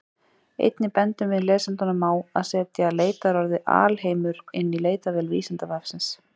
Einnig bendum við lesendum á að setja leitarorðið alheimur inn í leitarvél Vísindavefsins.